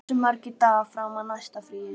Antonía, hversu margir dagar fram að næsta fríi?